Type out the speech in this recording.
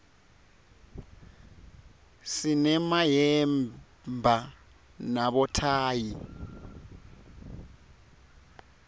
sinemayemba nabothayi